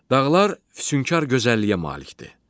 Dağlar füsunkar gözəlliyə malikdir.